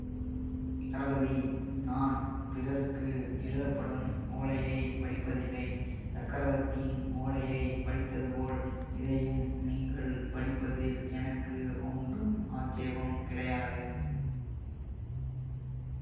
தளபதி நான் பிறருக்கு எழுதப்படும் ஓலையை படிப்பதில்லை சக்கரவர்த்தியின் ஓலையை படித்ததுபோல் இதையும் நீங்கள் படிப்பதில் எனக்கு ஒன்றும் ஆட்சேபம் கிடையாது